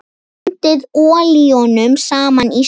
Blandið olíunum saman í skál.